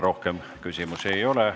Rohkem küsimusi ei ole.